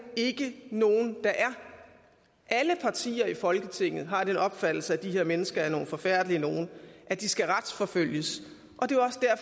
ikke nogen der er alle partier i folketinget har den opfattelse at de her mennesker er nogle forfærdelige nogen og at de skal retsforfølges